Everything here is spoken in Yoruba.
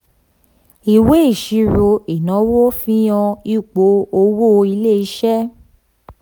ìwé ìṣirò ìnáwó fihan ipò owó ilé iṣẹ́.